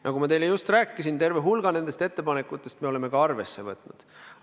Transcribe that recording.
Nagu ma teile just rääkisin, terve hulga nendest ettepanekutest me oleme ka arvesse võtnud.